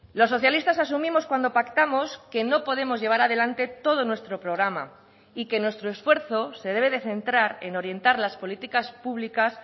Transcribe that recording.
los socialistas asumimos cuando pactamos que no podemos llevar adelante todo nuestro programa y que nuestro esfuerzo se debe de centrar en orientar las políticas públicas